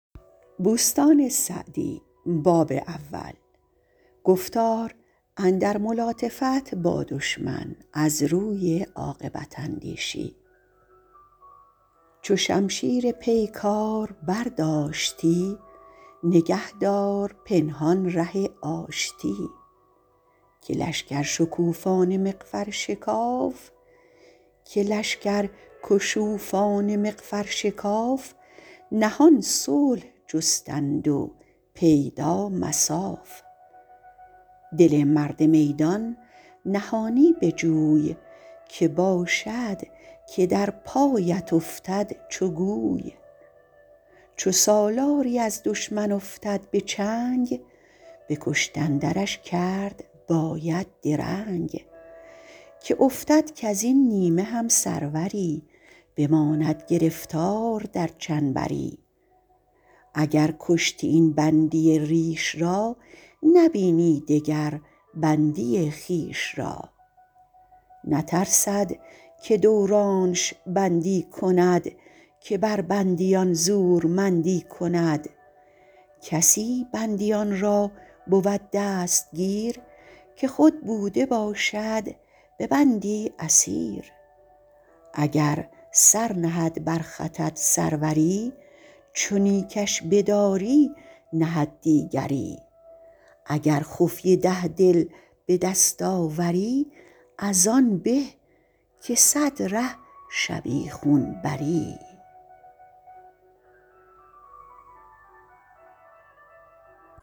چو شمشیر پیکار برداشتی نگه دار پنهان ره آشتی که لشکر شکوفان مغفر شکاف نهان صلح جستند و پیدا مصاف دل مرد میدان نهانی بجوی که باشد که در پایت افتد چو گوی چو سالاری از دشمن افتد به چنگ به کشتن درش کرد باید درنگ که افتد کز این نیمه هم سروری بماند گرفتار در چنبری اگر کشتی این بندی ریش را نبینی دگر بندی خویش را نترسد که دورانش بندی کند که بر بندیان زورمندی کند کسی بندیان را بود دستگیر که خود بوده باشد به بندی اسیر اگر سر نهد بر خطت سروری چو نیکش بداری نهد دیگری اگر خفیه ده دل بدست آوری از آن به که صد ره شبیخون بری